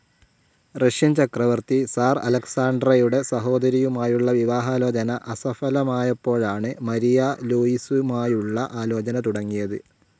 Russian ചക്രവർത്തി സിർ അലക്‌സാണ്ടറുടെ സഹോദരിയുമായുള്ള വിവാഹാലോചന അസഫലമായപ്പോഴാണ് മാരിയ ലൂയിസയുമായുള്ള ആലോചന തുടങ്ങിയത്.